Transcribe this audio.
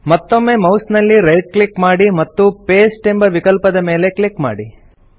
ಮತ್ತೊಮ್ಮೆ ಮೌಸ್ ನಲ್ಲಿ right click ಮಾಡಿ ಮತ್ತು ಪಾಸ್ಟೆ ಎಂಬ ವಿಕಲ್ಪದ ಮೇಲೆ ಕ್ಲಿಕ್ ಮಾಡಿ